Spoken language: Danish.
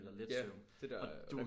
Ja det der